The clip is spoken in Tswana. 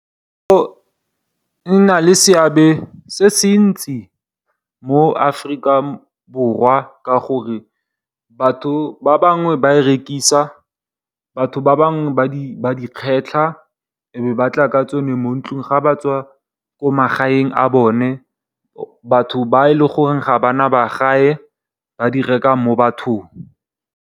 Go nna le seabe se se ntsi mo Aforika Borwa ka gore, batho ba bangwe ba a rekisa, ba bangwe ba a kgetlha e be ba tla ka one mo ntlung ga ba tswa ko magaeng a bone batho ba e le goreng ga bana one magaeng ba a reka mo bathong.